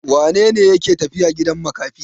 Wane ne yake tafiya gidan makafi?